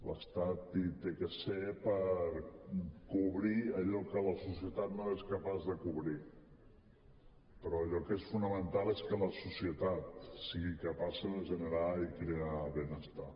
l’estat hi ha de ser per cobrir allò que la societat no és capaç de cobrir però allò que és fonamental és que la societat sigui capaç de generar i crear benestar